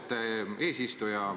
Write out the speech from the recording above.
Austet eesistuja!